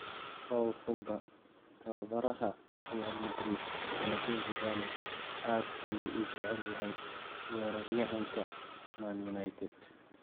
Paul Pogba: Tababaraha Real Madrid Zinedine Zidane aad ayuu u jecel yahay weeraryahanka Man Utd.